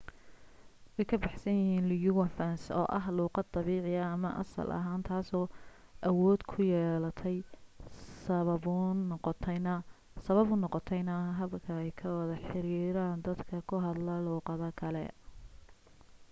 way ka baxsan yihiin lingua francas oo ah luuqad dabiici ama asal ah taaso awood ku yeelatay sababuun noqontayna habka ay ku wada xiriiraan dadka ku hadla luuqado kale